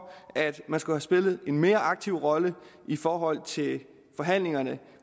at man skulle have spillet en mere aktiv rolle i forhold til forhandlingerne